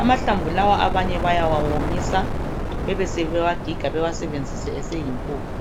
Amahlamvu lawa abanye bayawawomisa bawagige bawasebenzise eseyimpuphu.